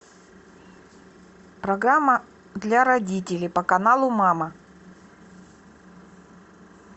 программа для родителей по каналу мама